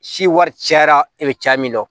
Si wari cayara e bɛ caya min dɔn